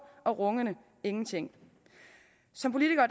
og rungende ingenting som politikere